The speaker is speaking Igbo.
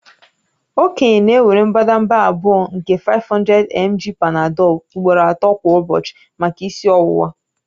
Okenye na-ewere mbadamba abụọ nke 500mg Panadol ugboro ato kwa ụbọchị maka isi ọwụwa